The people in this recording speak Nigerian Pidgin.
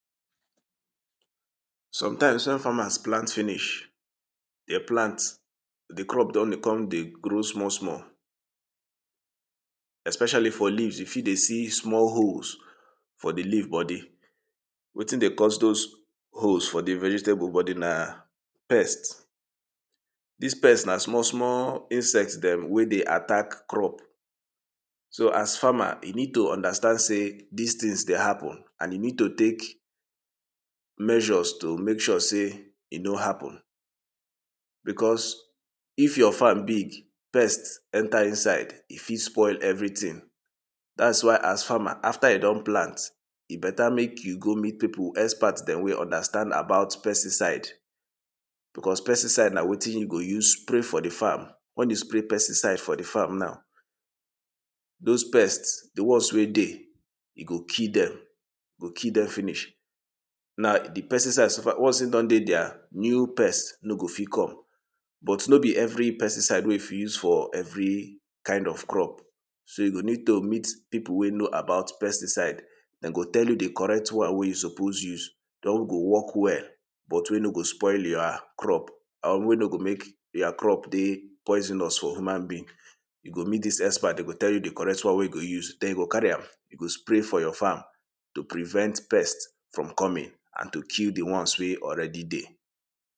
step by step on how to do CPR CPR na wetin oyibo dey call cardio pulmonary resuscitation wey be way to press person chest and give mouth-to-mouth air if e faint wen e breathe or heart stop e fit safe life if person no dey respond again o wetin you go need your two hands clean clothes if e dey available and de courage for you to dey act de steps to perform dis CPR na tap de person for shoulder shout you dey hear me? if e no respond check if e dey breathe o if e no dey breathe or chest no dey move start CPR sharpsharp shout for help or make person around call ambulance or rush go hospital put de person for flat ground make sure sey him neck straight put your two hands one on top de middle of de chest press de chest hard and fast press down like two inches deep do am hundred to one hundred and twenty times per minute o like make e be like de rhythm of staying alive song pinch de person nose close blow air enter de person mouth two times make sure sey e chest rise as you blow continue dey press chest and blow air back to back until de person wake or help show important tings wey you go remember for dis CPR until person start to breathe or medical help reach o if you no sabi give mouth-to-mouth just press de chest non stop act very fast o because every of de seconds like dis matter for dis CPR remember sey health na everybodi work o